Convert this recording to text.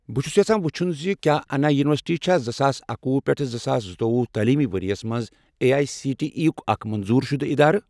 بہٕ چھُس یژھان وُچھُن زِ کیٛاہ اَنا یُنورسِٹی چھا زٕساس اکۄہُ پیٹھ زٕساس زٕتوۄہُ تعلیٖمی ورۍ یَس مَنٛز A I C T E یُک اکھ منظور شُدٕ اِدارٕ؟